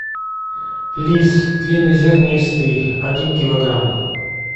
рис длиннозернистый один килограмм